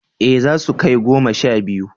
Eh zasu kai goma sha biyu